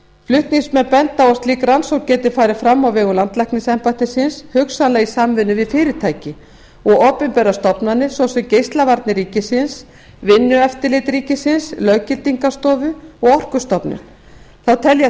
flutningsmenn benda á að slík rannsókn geti farið fram á vegum landlæknisembættisins hugsanlega í samvinnu við fyrirtæki og opinberar stofnanir svo sem geislavarnir ríkisins vinnueftirlit ríkisins löggildingarstofu og orkustofnun þá telja